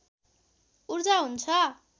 ऊर्जा हुन्छ